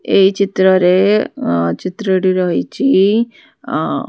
ଏଇ ଚିତ୍ର ରେ ଆଁ ଚିତ୍ରଟି ରହିଛି ଆଁ --